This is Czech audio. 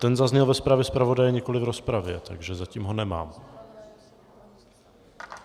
Ten zazněl ve zprávě zpravodaje, nikoliv v rozpravě, takže zatím ho nemám.